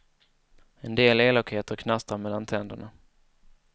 En del elakheter knastrar mellan tänderna.